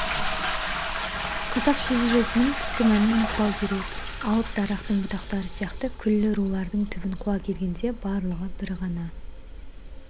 қазақ шежіресінің түпкі мәнін ұмытпау керек алып дарақтың бұтақтары сияқты күллі рулардың түбін қуа келгенде барлығы бір ғана